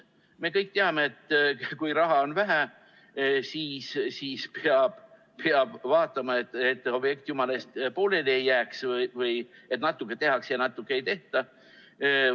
Me kõik teame, et kui raha on vähe, siis vaatame, et objekt jumala eest pooleli ei jääks või ei oleks nii, et natuke tehakse ja natuke ei tehta.